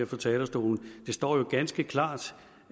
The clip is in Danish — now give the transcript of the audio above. fra talerstolen det står jo ganske klart